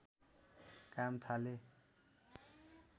काम थाले